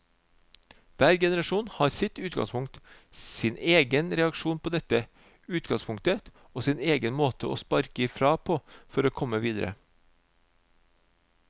Hver generasjon har sitt utgangspunkt, sin egen reaksjon på dette utgangspunktet og sin egen måte å sparke ifra på for å komme videre.